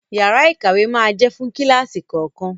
Yàrá ìkàwé máa jẹ́ fún kíláàsì kọ̀ọ̀kan.